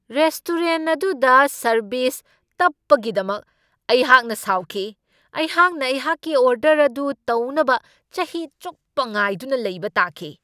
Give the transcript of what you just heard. Restaurant ꯑꯗꯨꯗ service ꯇꯞꯄꯒꯤꯗꯃꯛ ꯑꯩꯍꯥꯛꯅ ꯁꯥꯎꯈꯤ ꯫ ꯑꯩꯍꯥꯛꯅ ꯑꯩꯍꯥꯛꯀꯤ ꯑꯣꯔꯗꯔ ꯑꯗꯨ ꯇꯧꯅꯕ ꯆꯍꯤ ꯆꯨꯞꯄ ꯉꯥꯏꯗꯨꯅ ꯂꯩꯕ ꯇꯥꯈꯤ !